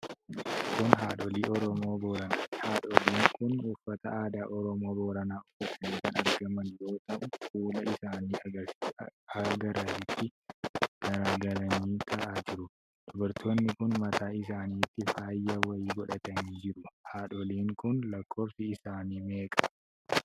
Kun haadholii Oromoo Booranaati. Haadholiin kun uffata aadaa Oromoo Booranaa uffatanii kan argaman yoo ta'u fuula isaniin garasitti garagalanii taa'aa jiru. Dubartoonni kun mataa isaanitti faaya wayii godhatanii jiru. Haadholiin kun lakkoofsi isaanii meeqa?